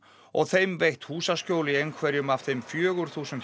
og þeim veitt húsaskjól í einhverjum af þeim fjögur þúsund